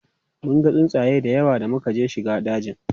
munga tsuntsaye da yawa da muka shiga dajin